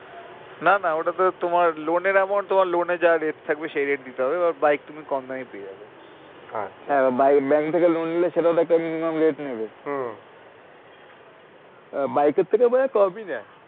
না না ওইটাতে তোমার loan এর amount তোমার loan এ যা rate থাকবে সেই rate দিতে হবে এবার bike তুমি কম দামে পেয়ে যাবে হ্যাঁ এবার bank থেকে loan নিলে সেটার একটা minimum rate নেবে bike এর থেকে মনে হয়ে কমই নেয়।